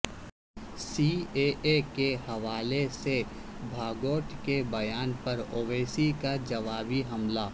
C A A کے حوالے سے بھاگوت کے بیان پر اویسی کا جوابی حملہ